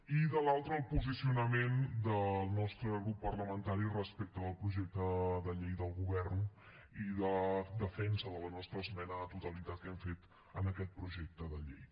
i de l’altra el posicionament del nostre grup parlamentari respecte del projecte de llei del govern i de defensa de la nostra esmena a la totalitat que hem fet en aquest projecte de llei